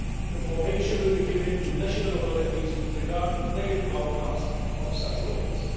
Information will be given to national authorities with regard to negative outcomes of such audits.